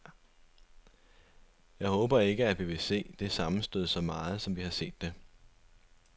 Og jeg håber ikke, at vi vil se det sammenstød så meget, som vi har set det.